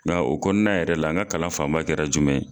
Nga o kɔnɔna yɛrɛ la n ka kalan fan ba kɛra jumɛn ye.